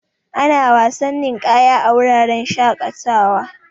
Ana wasan ninƙaya a wuraren shaƙatawa.